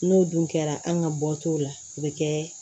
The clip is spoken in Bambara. N'o dun kɛra an ka bɔ t'o la o be kɛ